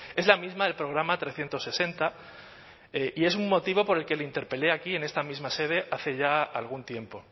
es la misma del programa trescientos sesenta y es un motivo por el que le interpelé aquí en esta misma sede hace ya algún tiempo